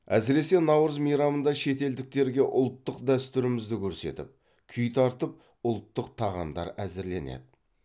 әсіресе наурыз мейрамында шетелдіктерге ұлттық дәстүрімізді көрсетіп күй тартып ұлттық тағамдар әзірленеді